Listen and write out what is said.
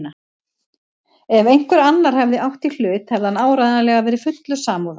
Ef einhver annar hefði átt í hlut hefði hann áreiðanlega verið fullur samúðar.